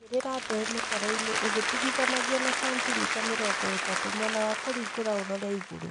Igĩrĩra mbeũ mĩtaroinĩ ũgĩtigithũkanagia na sentimita mĩrongo ĩtatũ mwena wa kũringũra ũrore igũru